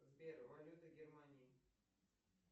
сбер валюта германии